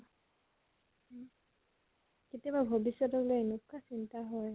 হম? কেতিয়াবা ভবিষ্য়তলৈ এনেকুৱা চিন্তা হয়